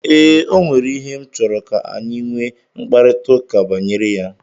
Ee, ọ nwere ihe m chọrọ ka anyi nwe mkaprịta ụka banyere ya.